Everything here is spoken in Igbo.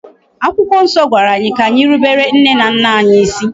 Akwụkwọ nsọ gwara anyị ka anyi rubere nne na nna anyi isi.